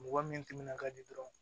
Mɔgɔ min timinan ka di dɔrɔn